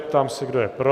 Ptám se, kdo je pro.